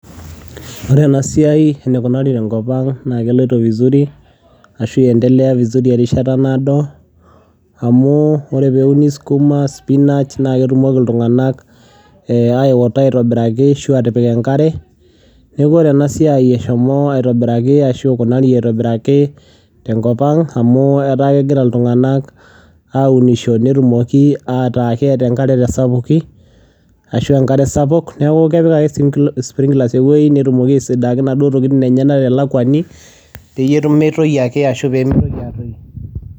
Wore enasiai enukunari tenkop ang naa keloito vizuri ashu eendelea vizuri erishata naado, amu wore pee euni sukuma , spinach , naa ketumoki iltunganak aewota aitobiraki ashu atipik enkare. Niaku wore enasiai eshomo aitobiraki ashu ikunari aitobiraki tenkop ang amu etaa kegira iltunganak aunisho netumoki ataa keeta enkare tesapuki ashua enkare sapuk. Niaku kepik ake springlers eweji netumoki aisiidaki inaduo tokiting enyenak telakwani peyie metoyu ake ashu peemitoki aatoyu.